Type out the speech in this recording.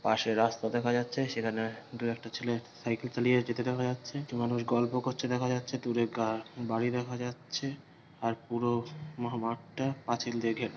পশে রাস্তা দেখা যাচ্ছে সেখানে দু একটা ছেলে সাইকেল চালিয়ে যেতে দেখা যাচ্ছে কিছু মানুষ গল্প করছে দেখা যাচ্ছে দূরে গা বাড়ি দেখা যাচ্ছে আর পুরো মহ মাঠ টা পাঁচিল দিয়ে ঘেরা।